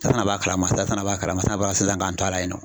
fana b'a kalama e fana b'a kalama sisan k'an to a la yen nɔ